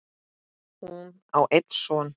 Hún á einn son.